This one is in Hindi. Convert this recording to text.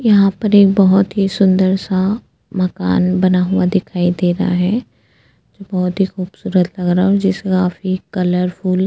यहां पर एक बहुत ही सुंदर सा मकान बना हुआ दिखाई दे रहा है जो बहुत ही खूबसूरत लग रहा हूं जिसका कलरफुल --